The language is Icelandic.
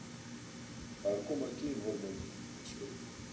Þar koma kynhormónin við sögu.